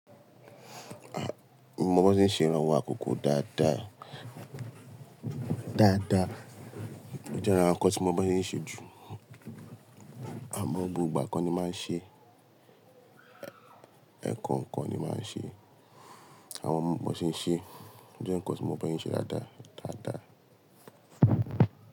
Ọmọ bọ̀sẹ̀ ń ṣe ìrànwọ́ àkókò dáadáa, dáadáa. Ó jẹ́ aran nkan tí mọ n bọ̀sẹ̀ ń ṣe jù. Àmọ́ gbogbo ìgba ko ni máa ń ṣe, ẹ̀ kọ̀ọ̀kan ni máa ń ṣe. Àwọn ọmọ ọ̀sẹ̀ ń ṣe, ó jẹ́ ǹkan tí ọmọ ọ̀sẹ̀ ń ṣe dáadáa, dáadáa.